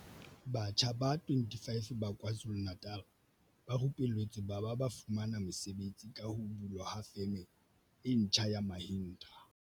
Batjha ba 25 ba KwaZu lu-Natal ba rupelletswe ba ba ba fumana mesebetsi ka ho bulwa ha Feme e ntjha ya Mahindra.